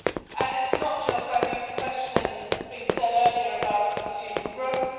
And it is not just, I think, a question, as has been said earlier, about the pursuit of growth.